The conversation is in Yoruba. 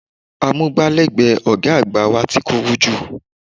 Amúgbálẹ́gbẹ̀ẹ́ ọ̀gá àgbà wa ti kúrú jù